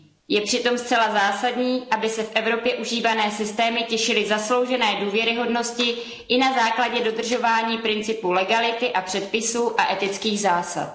Je přitom zcela zásadní, aby se v Evropě užívané systémy těšily zasloužené důvěryhodnosti i na základě dodržování principu legality a předpisů a etických zásad.